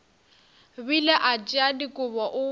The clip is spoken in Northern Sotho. bile a tšea dikobo o